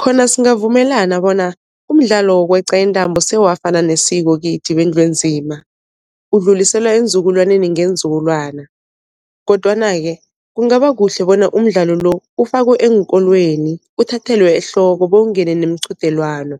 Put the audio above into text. Khona singavumelana bona umdlalo wokweqa intambo sewafana nesiko kithi wendlu enzima, udluliselwa eenzukulwaneni ngeenzukulwana. Kodwana-ke kungaba kuhle bona umdlalo lo ufakwe eenkolweni uthathelwe ehloko bowungene nemiqhudelwano,